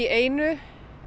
einu